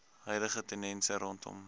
huidige tendense rondom